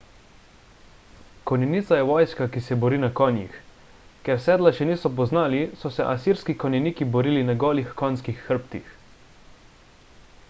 konjenica je vojska ki se bori na konjih ker sedla še niso poznali so se asirski konjeniki borili na golih konjskih hrbtih